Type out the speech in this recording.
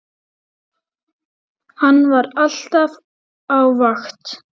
Hann var alltaf á vakt.